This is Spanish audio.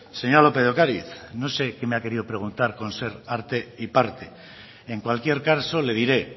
señora lópez de ocariz no sé qué me ha querido preguntar con ser arte y parte en cualquier caso le diré